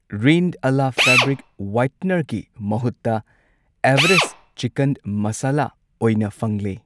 ꯔꯤꯟ Ala fabric ꯋꯥꯏꯠꯅꯔꯒꯤ ꯃꯍꯨꯠꯇ Everest chicken masala ꯑꯣꯏꯅ ꯐꯪꯂꯦ꯫